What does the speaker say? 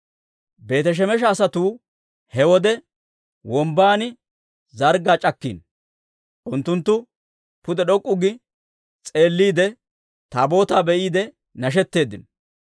Beeti-Shemesha asatuu he wode wombban zarggaa c'akkiino; unttunttu pude d'ok'k'u gi s'eelliide, Taabootaa be'iide nashetteeddino.